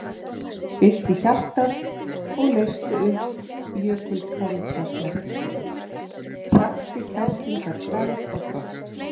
Fyllti hjartað og leysti upp jökulkalda snertinguna, hrakti kerlingarflagð á brott.